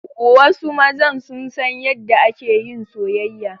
Wasu mazan sun san yadda ake yin soyayya.